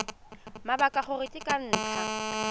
mabaka gore ke ka ntlha